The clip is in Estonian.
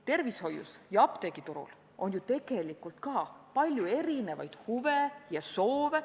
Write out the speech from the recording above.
Tervishoius ja apteegiturul on ju tegelikult ka palju erinevaid huve ja soove.